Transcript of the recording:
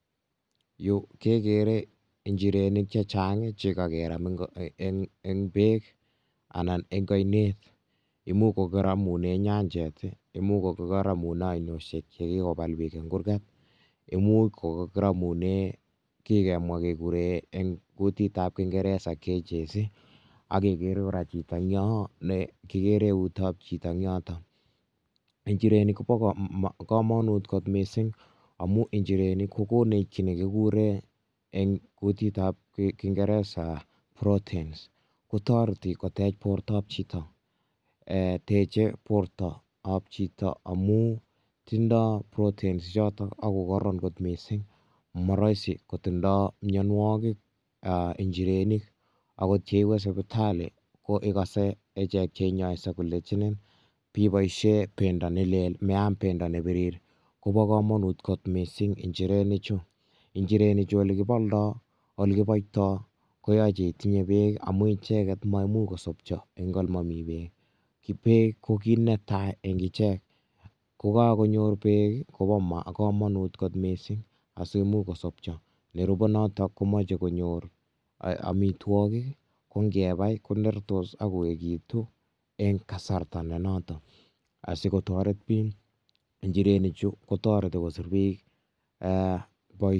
Yu kegere njirenik chechang' che kakeram um eng' beek anan eng' ainet. Imuch kokaramune nyajet, imuch kokaramune ainoshhek che kikobal biik eng' kurget. Imuch kikoramune kikemwa kegure eng' kutitab kingeresa cages. Akegere kora chito eng yoo ne kikere eutab chito en yotok. Injirenik, kobo um komonut kot missing, amu injirenik kokonech kiy ne kigure eng' kutitab kingeresa proteins. Kotoreti kotech bortob chito amu tindoi proteins chotok ago kararan kot missing. Ma rahisi kotindoi mwaynwogik um injirenik, ago yeikose ko tally ko ikase ichek che inyoisie kolechinin biboisie pendo ne lel, meam pendo ne birir. Kobo komonut kot missing injirenik chu. Injirenik chu ole kibaldoi, ole kiboitoi, koyache itinye beek amu icheket maimuch kosopcho eng' ole mami beek. Ki beek ko kiy netai eng' ichek. Kokakonyor beek, kobo [um]komonut kot missing asimuch kosopcho. Nerube notok komacheiy konyor amitwogik, ko ngebai konertos akoekitu eng' kasarta ne noton. Asikotoret biik njirenik chu, kotoreti kosub biik um